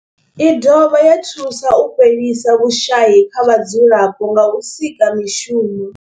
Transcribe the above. I dovha ya thusa u fhelisa vhushayi kha vhadzulapo nga u sika mishumo.